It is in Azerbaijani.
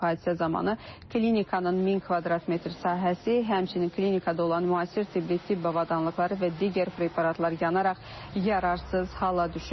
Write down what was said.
Hadisə zamanı klinikanın 1000 kvadrat metr sahəsi, həmçinin klinikada olan müasir tibbi tibb avadanlıqları və digər preparatlar yanaraq yararsız hala düşüb.